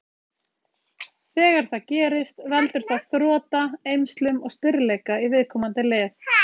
Þegar það gerist veldur það þrota, eymslum og stirðleika í viðkomandi lið.